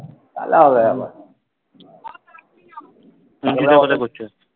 তালে আবার কি অঙ্কিতা কোথায় করছে?